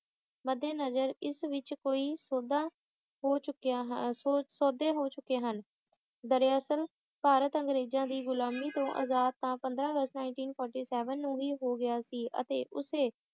ਮੱਦੇਨਜ਼ਰ ਇਸ ਵਿੱਚ ਕੋਈ ਸੌਦਾ ਹੋ ਚੁੱਕਿਆ ਹੈ ਸੌਦੇ ਹੋ ਚੁੱਕੇ ਹਨ ਦਰਅਸਲ ਭਾਰਤ ਅੰਗਰੇਜਾਂ ਦੀ ਗੁਲਾਮੀ ਤੋਂ ਆਜ਼ਾਦ ਤਾਂ ਪੰਦਰਾਂ ਅਗਸਤ nineteen forty seven ਨੂੰ ਹੀ ਹੋ ਗਿਆ ਸੀ ਅਤੇ ਉਸੇ